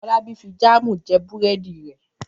Fọlábí fi jáámù jẹ búrẹ́dì rẹ̀.